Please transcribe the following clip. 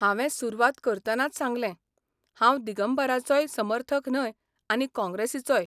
हावें सुरवात करतनाच सांगलें, हांव दिगंबराचोय समर्थक न्हय आनी काँग्रेसीचोय.